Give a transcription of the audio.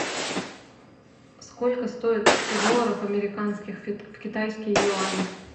сколько стоит сто долларов американских в китайские юани